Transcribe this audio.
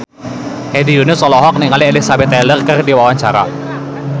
Hedi Yunus olohok ningali Elizabeth Taylor keur diwawancara